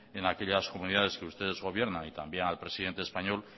en aquellas comunidades que ustedes gobiernan y también al presidente español